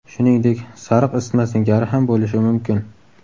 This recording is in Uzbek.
Shuningdek, sariq isitma singari ham bo‘lishi mumkin.